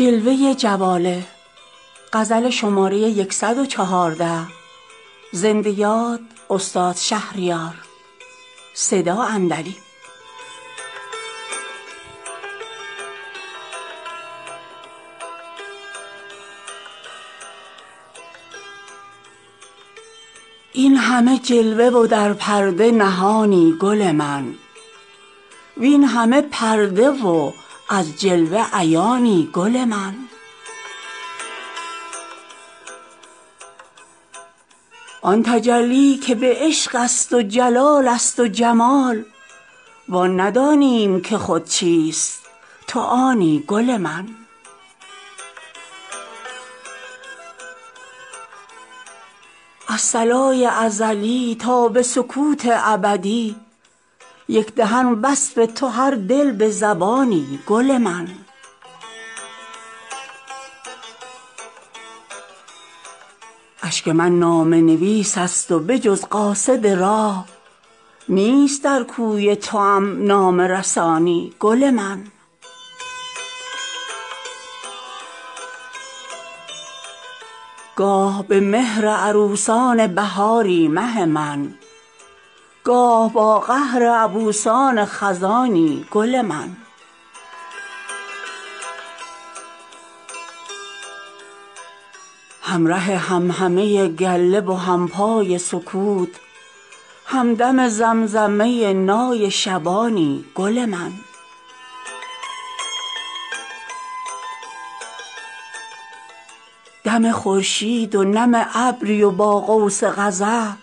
این همه جلوه و در پرده نهانی گل من وین همه پرده و از جلوه عیانی گل من جز یکی راز که پیوسته نهان ماند نیست تویی آن راز که پیوسته نهانی گل من همه طفلند در این وادی و تا این وادی ست کس نداده ست نشان پیر و جوانی گل من آن تجلی که به عشق است و جلالست و جمال و آن ندانیم که خود چیست تو آنی گل من از صلای ازلی تا به سکوت ابدی یک دهن وصف تو هر دل به زبانی گل من آفرینش همه یک جلو جواله توست وه چه فواره فوری فورانی گل من همه سرگشته پرگار تو و در همه کون نیست یک دایره بی دورانی گل من در شب تیره به توفان دل اقیانوس جز تو دیگر نه کنار و نه کرانی گل من اشک من نامه نویس است وبجز قاصد راه نیست در کوی توام نامه رسانی گل من گاه به مهر عروسان بهاری مه من گاه با قهر عبوسان خزانی گل من همره همهمه گله و همپای سکوت همدم زمزمه نای شبانی گل من با نگارین غزلان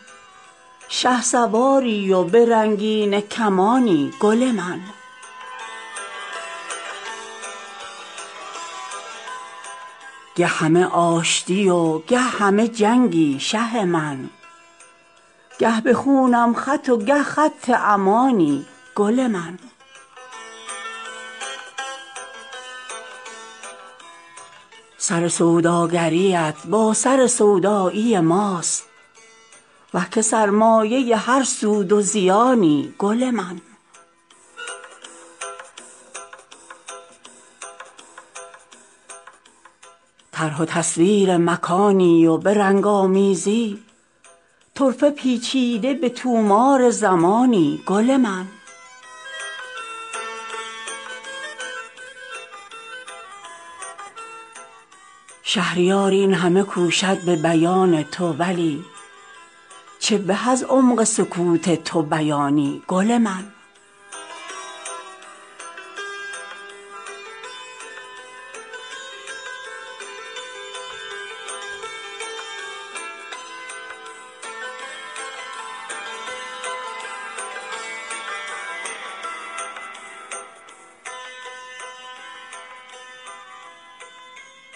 کلک سبک سنج ظریف با حماسی هنران گرز گرانی گل من گه همه آشتی و گه همه جنگی شه من گه به خونم خط و گه خط امانی گل من سر سوداگریت با سر سودایی ماست وه که سرمایه هر سود و زیانی گل من طرح و تصویر مکانی و به رنگ آمیزی طرفه پیچیده به طومار زمانی گل من کارگاه تو به چرخیدن سرسام انگیز تن و جسمند و تو خود روح و روانی گل من گر به فرمان تو یک ایست کند کون و مکان در زمان نیست دگر کون و مکانی گل من شهریار این همه کوشد به بیان تو ولی چه به از عمق سکوت تو بیانی گل من